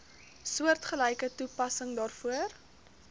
soortgelyke toepassing daarvoor